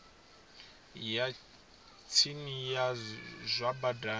ya tsini ya zwa badani